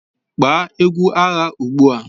Gbaa egwu agha ugbu a!